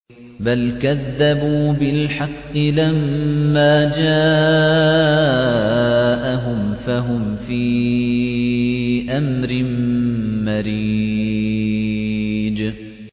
بَلْ كَذَّبُوا بِالْحَقِّ لَمَّا جَاءَهُمْ فَهُمْ فِي أَمْرٍ مَّرِيجٍ